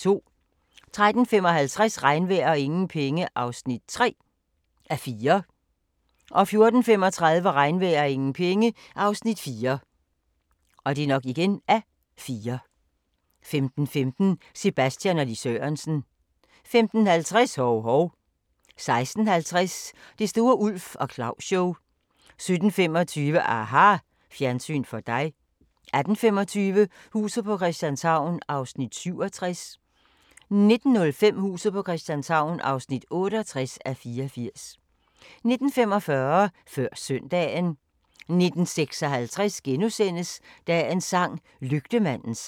13:55: Regnvejr og ingen penge (3:4) 14:35: Regnvejr og ingen penge (Afs. 4) 15:15: Sebastian og Lis Sørensen 15:50: Hov-Hov 16:50: Det store Ulf og Claus-show 17:25: aHA ! Fjernsyn for dig 18:25: Huset på Christianshavn (67:84) 19:05: Huset på Christianshavn (68:84) 19:45: Før Søndagen 19:56: Dagens sang: Lygtemandens sang *